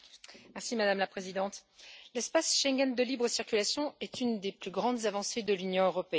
Madame la Présidente, l'espace Schengen de libre circulation est une des plus grandes avancées de l'Union européenne.